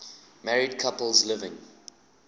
married couples living